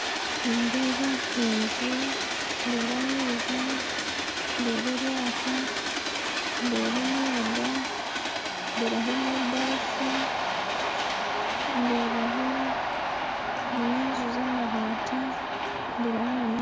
Nindeeba enju ndeeba amaizi ndeeba eryato ndeeba emyenda ndeebaho nebaafu ndeebaho nana enju zamabaati ndeebaho nane